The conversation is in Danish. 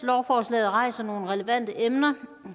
lovforslaget rejser nogle relevante emner